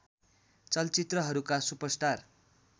चलचित्रहरूका super star